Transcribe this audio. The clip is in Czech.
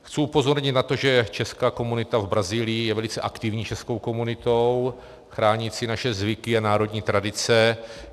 Chci upozornit na to, že česká komunita v Brazílii je velice aktivní českou komunitou, chránící naše zvyky a národní tradice.